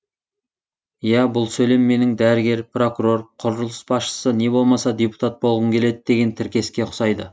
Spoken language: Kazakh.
иә бұл сөйлем менің дәрігер прокурор құрылыс басшысы не болмаса депутат болғым келеді деген тіркеске ұқсайды